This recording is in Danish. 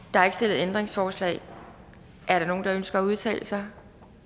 der er ikke stillet ændringsforslag er der nogen der ønsker at udtale sig